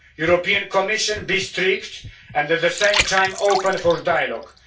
European Commission be strict and, at the same time, open to dialogue.